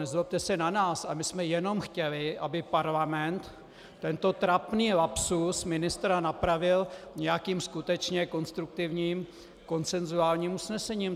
Nezlobte se na nás, ale my jsme jenom chtěli, aby parlament tento trapný lapsus ministra napravil nějakým skutečně konstruktivním konsensuálním usnesením.